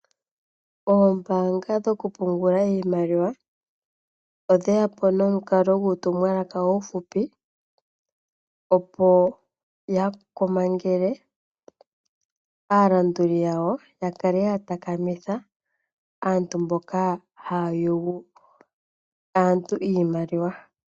Oombaanga dho ku pungula iimaliwa, odhe yapo nomukalo gwoku tuma uutumwalaka uufupi, opo ya komangele, aalanduli yawo opo ya kale ya takamitha aantu mboka ha ya yugu aantu iimaliwa.